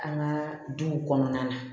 An ka duw kɔnɔna na